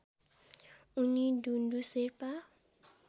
उनी डुन्डु शेर्पा